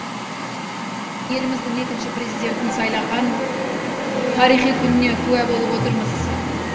еліміздің екінші президентін сайлаған тарихи күніне куә болып отырмыз